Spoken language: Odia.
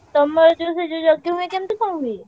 ତମର ଯୋଉ ସେ ଯୋଉ ଯଜ୍ଞ ହୁଏ କେମିତି କଣ ହୁଏ?